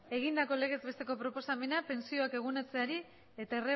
egindako legez besteko proposamena pentsioak eguneratzeari eta